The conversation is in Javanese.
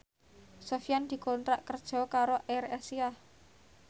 Sofyan dikontrak kerja karo AirAsia